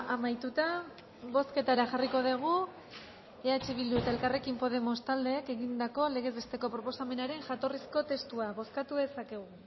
amaituta bozketara jarriko dugu eh bildu eta elkarrekin podemos taldeek egindako legez besteko proposamenaren jatorrizko testua bozkatu dezakegu